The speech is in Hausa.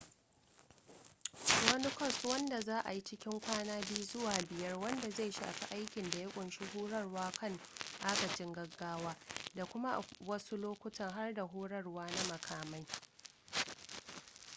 wani kwas wanda za a yi cikin kwana 2-5 wanda zai shafi aikin da ya kunshi horarwa kan agajin gaggawa da kuma a wasu lokutan har da horarwa na makamai